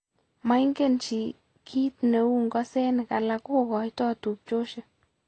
Moingen chii kiit neibu ng'osenik alak kokoitoo tubchosiek